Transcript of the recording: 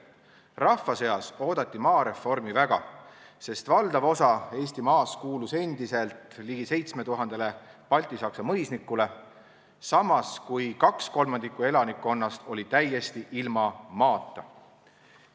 Rahva seas oodati maareformi väga, sest valdav osa Eesti maast kuulus endiselt ligi 7000-le baltisaksa mõisnikule, samas kui 2/3 elanikkonnast oli täiesti ilma maata.